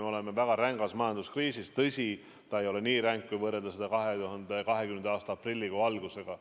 Me oleme väga rängas majanduskriisis, tõsi, see ei ole nii ränk, kui võrrelda 2020. aasta aprillikuu algusega.